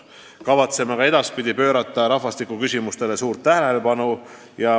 Kavatseme ka edaspidi pöörata rahvastikuküsimustele suurt tähelepanu.